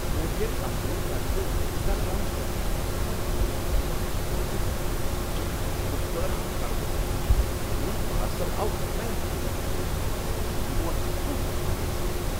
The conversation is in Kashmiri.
کورئیر کمپنی طرفہٕ یوتاہ کم سطحچ خدمت ہٕندِ معیارک تجربہٕ کرن چھ بالکل حیران کروُن۔ میون پارسل آو غلط طریقہٕ تُلنہٕ ، تہٕ یہ ووت ووکھٕ حالتس منز۔